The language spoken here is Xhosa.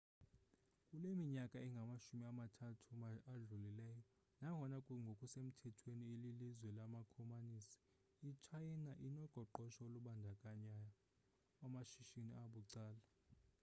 kule minyaka ingamashumi mathathu adlulileyo nangona ngokusemthethweni ililizwe lamakomanisi itshayina inoqoqosho olubandakanya amashishini abucala